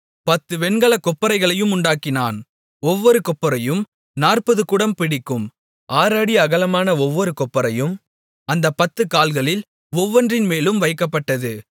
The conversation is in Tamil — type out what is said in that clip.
10 வெண்கலக் கொப்பரைகளையும் உண்டாக்கினான் ஒவ்வொரு கொப்பரையும் 40 குடம் பிடிக்கும் 6 அடி அகலமான ஒவ்வொரு கொப்பரையும் அந்தப் 10 கால்களில் ஒவ்வொன்றின்மேலும் வைக்கப்பட்டது